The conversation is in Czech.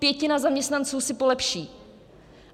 Pětina zaměstnanců si polepší.